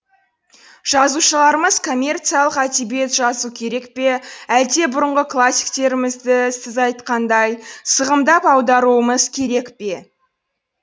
жазушыларымыз коммерциялық әдебиет жазу керек пе әлде бұрынғы классиктерімізді сіз айтқандай сығымдап аударуымыз керек пе